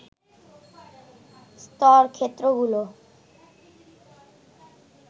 স্তর ক্ষেত্রগুলো